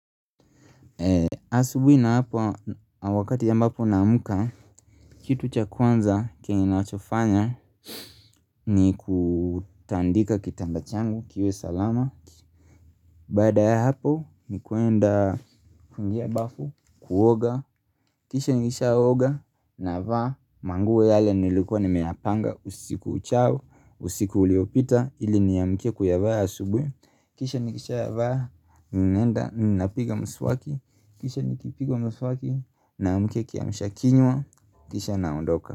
Asubuhi wakati ambapo naamka Kitu cha kwanza kenye nachofanya ni kutandika kitanda changu kiwe salama Baada ya hapo ni kwenda kuingia bafu Kuoga, kisha nikishaooga navaa, manguo yale nilikuwa nimeyapanga usiku uchao, usiku uliopita ili niamkie kuyavaa asubuhi Kisha nikishavaa, ninaenda, ninapiga mswaki Kisha nikipiga mswaki Naamkia kiamshakinywa Kisha naondoka.